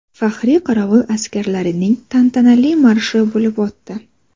Faxriy qorovul askarlarining tantanali marshi bo‘lib o‘tdi.